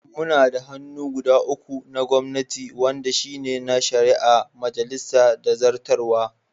Muna da hannu guda uku na gwamnati wanɗa shine na shari'a, majalisa da zartarwa.